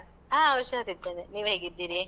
ಆ, ಹುಷಾರಿದ್ದೇನೆ. ನೀವ್ ಹೇಗಿದ್ದೀರಿ?